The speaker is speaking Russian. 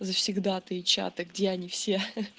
завсегдатые чата где они все